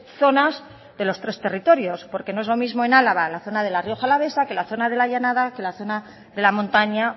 zonas de los tres territorios porque no es lo mismo en álava la zona de la rioja alavesa que la zona de la llanada que la zona de la montaña